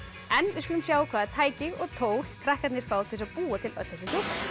við skulum sjá hvaða tæki og tól krakkarnir fá til þess að búa til öll þessi